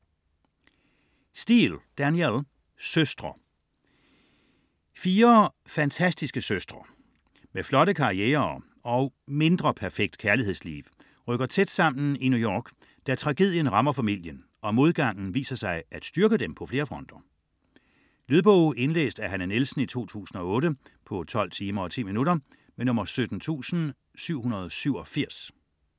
Steel, Danielle: Søstre Fire fantastiske søstre med flotte karrierer og mindre perfekt kærlighedsliv rykker tæt sammen i New York, da tragedien rammer familien, og modgangen viser sig at styrke dem på flere fronter. Lydbog 17787 Indlæst af Hanne Nielsen, 2008. Spilletid: 12 timer, 10 minutter.